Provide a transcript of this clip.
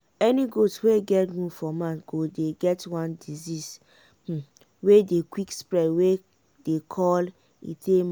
any goat wey get wound for mouth go don get one disease wey dey quick spread wey dem call ecthyma.